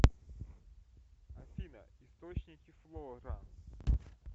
афина источники флора